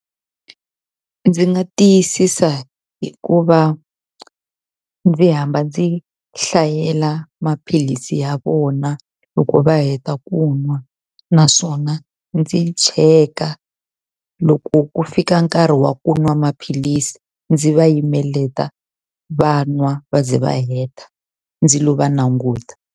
Ndzi nga tiyisisa hi ku va ndzi hamba ndzi hlayela maphilisi ya vona loko va heta ku nwa. Naswona ndzi cheka, loko ku fika nkarhi wa ku nwa maphilisi ndzi va yimelela va nwa va ze va heta ndzi lo va languta.